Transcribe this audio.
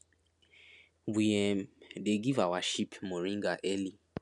we um dey give our sheep moringa early